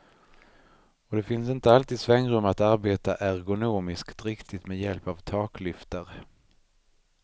Och det finns inte alltid svängrum att arbeta ergonomiskt riktigt med hjälp av taklyftar.